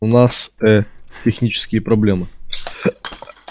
у нас э технические проблемы